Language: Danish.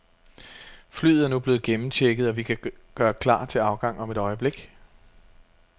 Flyet er nu blevet gennemchecket, og vi kan gøre klar til afgang om et øjeblik.